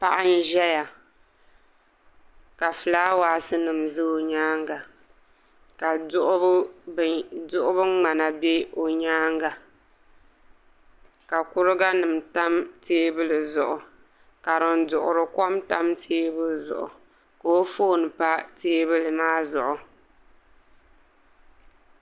Paɣa n ʒɛya ka fulaawaasi nim ʒɛ o nyaanga ka duɣubu ŋmana bɛ o nyaanga ka kuriga nim tam teebuli zuɣu ka din duɣuri kom tam teebuli zuɣu ka o foon pa teebuli maa zuɣu